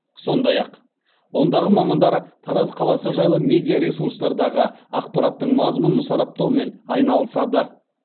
сондай ақ ондағы мамандар тараз қаласы жайлы медиа ресурстардағы ақпараттың мазмұнын сараптаумен айналысады